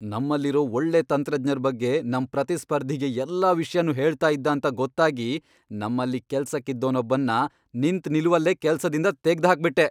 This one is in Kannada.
ನಮ್ಮಲ್ಲಿರೋ ಒಳ್ಳೆ ತಂತ್ರಜ್ಞರ್ ಬಗ್ಗೆ ನಮ್ ಪ್ರತಿಸ್ಪರ್ಧಿಗೆ ಎಲ್ಲ ವಿಷ್ಯನೂ ಹೇಳ್ತಾ ಇದ್ದಾಂತ ಗೊತ್ತಾಗಿ ನಮ್ಮಲ್ಲಿ ಕೆಲ್ಸಕ್ಕಿದ್ದೋನೊಬ್ಬನ್ನ ನಿಂತ್ನಿಲುವಲ್ಲೇ ಕೆಲ್ಸದಿಂದ ತೆಗ್ದ್ಹಾಕ್ಬಿಟ್ಟೆ.